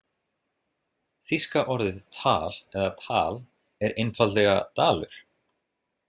Þýska orðið Thal eða Tal er einfaldlega dalur.